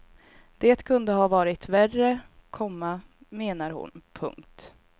Det kunde ha varit värre, komma menar hon. punkt